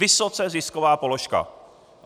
Vysoce zisková položka.